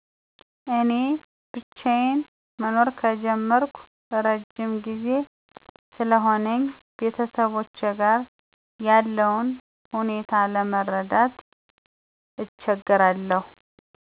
እኔ ብቻዩን መኖር ከጀመርኩ እረዥም ጊዜ ስለሆነኝ ቤተሰቦቼ ጋር ያለውን ሁኔታ ለመረዳት እቸገራለሁ።